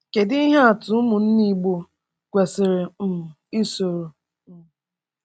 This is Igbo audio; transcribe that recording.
Kedu ihe atụ ụmụnne Igbo kwesịrị um isoro? um